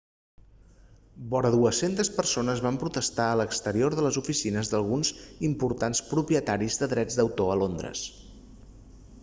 vora 200 persones van protestar a l'exterior de les oficines d'alguns importants propietaris de drets d'autor a londres